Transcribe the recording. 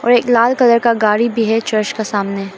एक लाल कलर का गाड़ी भी है चर्च के सामने--